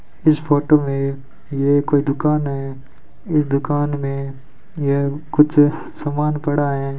इस फोटो में यह कोई दुकान है इस दुकान में यह कुछ सामान पड़ा है।